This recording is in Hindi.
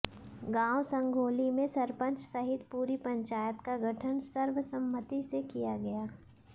गांव संघोली में सरपंच सहित पूरी पंचायत का गठन सर्वसम्मति से किया गया